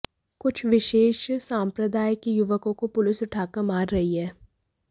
कुछ विशेष सांप्रदाय के युवकों को पुलिस उठाकर मार रही है